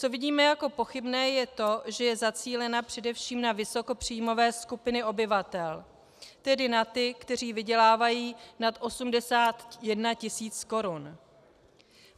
Co vidíme jako pochybné, je to, že je zacílena především na vysokopříjmové skupiny obyvatel, tedy na ty, kteří vydělávají nad 81 tisíc korun.